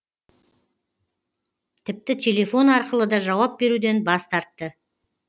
тіпті телефон арқылы да жауап беруден бас тартты